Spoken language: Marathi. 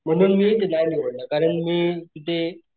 म्हणून मी ते नाही निवडलं कारण मी ते,